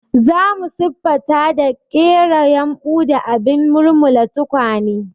Za mu siffata da ƙera yumbu da abin mulmula tukwane.